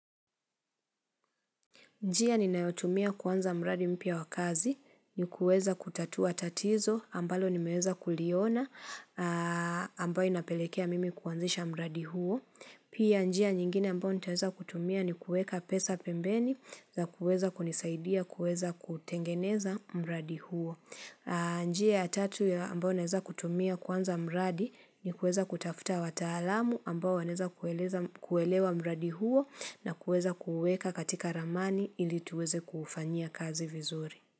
Njia ninayotumia kuanza mradi mpya wa kazi ni kuweza kutatua tatizo ambalo nimeweza kuliona ambayo inapelekea mimi kuanzisha mradi huo. Pia njia nyingine ambayo nitaweza kutumia ni kueka pesa pembeni za kuweza kunisaidia kuweza kutengeneza mradi huo. Njia ya tatu ya ambao naeza kutumia kuanza mradi ni kuweza kutafuta watalamu ambao wanaeza kuelewa mradi huo na kueza kuweka katika ramani ili tuweze kufanya kazi vizuri.